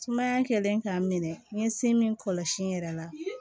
Sumaya kɛlen k'a minɛ n ye se min kɔlɔsi n yɛrɛ la